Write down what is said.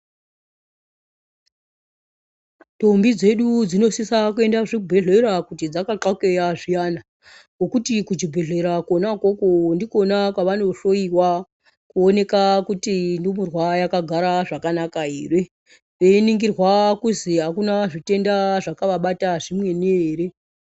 Ntombi dzedu dzinosisa kuenda zvibhehlera kuti dzakathokeya zviyana ngokuti kuchibhehleya kwona ikoko ndikona kwavanohloiwa kuoneka kuti ndumurwa yakagara zvakanaka ere einingirwa kuti akuna zvitenda zvakavabata zvimweni here.